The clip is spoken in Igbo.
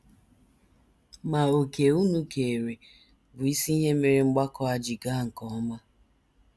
Ma òkè unu keere bụ isi ihe mere mgbakọ a ji gaa nke ọma. ”